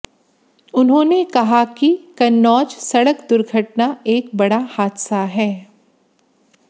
उन्होंने कहा कि कन्नौज सड़क दुर्घटना एक बड़ा हादसा है